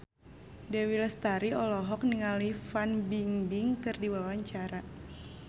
Dewi Lestari olohok ningali Fan Bingbing keur diwawancara